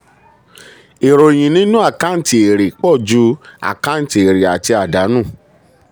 ìròyìn nínú àkáǹtì èrè pọ̀ ju àkáǹtì èrè àti àdánù.